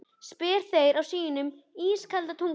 spyrja þeir á sínu ískalda tungumáli.